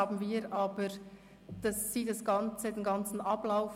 Aber jetzt bestreiten Sie den ganzen Ablauf.